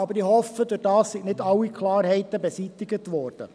Doch hoffe ich, seien dadurch nicht alle Klarheiten beseitigt worden.